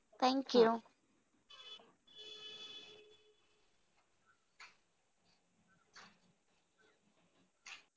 Thank you!